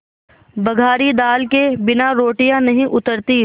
बघारी दाल के बिना रोटियाँ नहीं उतरतीं